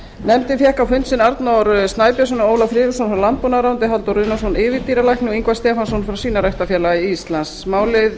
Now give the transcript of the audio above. nefndin fékk á fund sinn arnór snæbjörnsson ólaf friðriksson frá landbúnaðarráðuneyti halldór runólfsson yfirdýralækni og ingvar stefánsson frá svínaræktarfélagi íslands málið